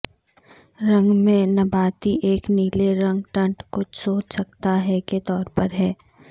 رنگ میں نباتی ایک نیلے رنگ ٹنٹ کچھ سوچ سکتا ہے کے طور پر ہے